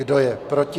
Kdo je proti?